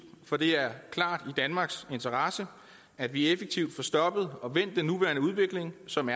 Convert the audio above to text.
for det er klart i danmarks interesse at vi effektivt får stoppet og vendt den nuværende udvikling som